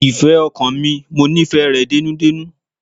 Ìfẹ́ ọkàn mi, mo nífẹ̀ẹ́ rẹ dénúdénú.